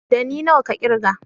Ɗani nawa ka ƙirga?